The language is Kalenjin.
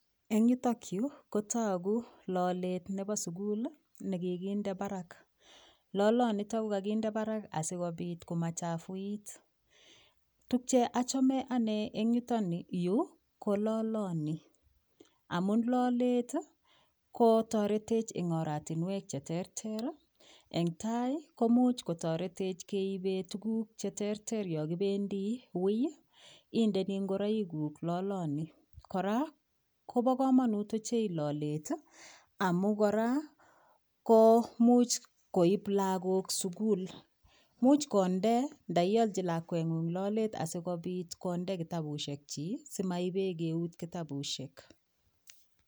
Eng yutokyu kotogu lolet nebo sugul nekikinde barak. lolonitok ko kakinde barak asikobit komachafuit. Tukche achame ane eng yutayu ko loloni , amun lolet kotoretech eng oratinwek , eng tai komuch kotoretech keibe tukuk che terter yo kibendi wui, indeni ngoroiguk loloni. Kora kobokomonut ochei lolet amun kora ko much koip lagok sugul. Much konde nda iolchi lakweng'ung' lolet asikobit konde kitabushekchi simaibe keut kitabushek.